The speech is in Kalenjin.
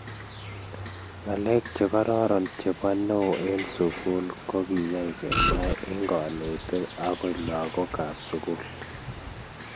Ngalek chegororon chebo neo eng sugul kogiyay kenai eng konetiik ago lagook kab sugul